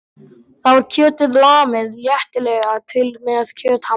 Þá er kjötið lamið léttilega til með kjöthamri.